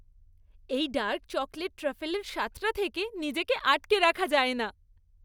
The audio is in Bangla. এই ডার্ক চকোলেট ট্রাফলের স্বাদটা থেকে নিজেকে আটকে রাখা যায় না।